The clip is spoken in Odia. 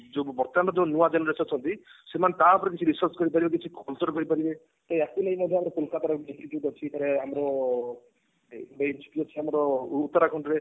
ଯୋଉ ବର୍ତମାନ ଯୋଉ ନୂଆ generation ଅଛନ୍ତି ସେମାନେ ଟା ଉପରେ କିଛି research କରିପାରିବେ କିଛି ଖୋଳତାଡ କରିପାରିବେ ତ ୟାକୁ ନେଇ ମଧ୍ୟ ଆମର ଆମର ଉତ୍ତରାଖଣ୍ଡ ରେ